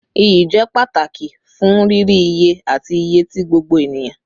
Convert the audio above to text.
Iyi jẹ pataki fun riri iye ati iye ti gbogbo eniyan